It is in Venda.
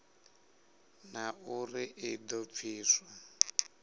na uri i do pfiswa